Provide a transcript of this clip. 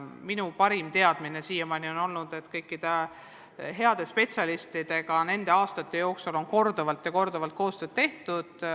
Minu parim teadmine on siiamaani olnud see, et kõikide heade spetsialistidega on nende aastate jooksul korduvalt ja korduvalt koostööd tehtud.